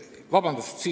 Vabandust!